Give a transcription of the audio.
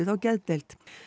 á geðdeild